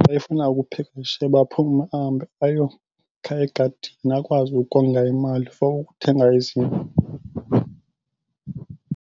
xa efuna ukupheka isishebo aphume ahambe ayokha egadini akwazi ukonga imali for ukuthenga izinto.